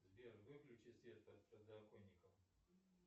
сбер выключи свет под подоконником